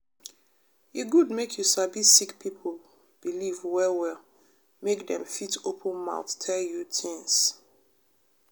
e good make you sabi sick pipo believe well well make dem fit open mouth tell you tins.